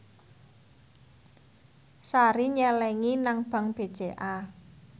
Sari nyelengi nang bank BCA